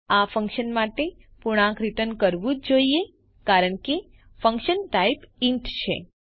આ ફન્કશન માટે પૂર્ણાંક રીટર્ન કરવું જ જોઈએ કારણ કે ફન્કશન ટાઇપ ઇન્ટ છે